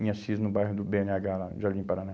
Em Assis, no bairro do bê ene agá, lá em Jardim Paraná.